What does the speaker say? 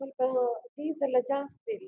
ಸ್ವಲ್ಪ ನು ಫೀಸ್ ಎಲ್ಲ ಜಾಸ್ತಿ ಇಲ್ಲಿ.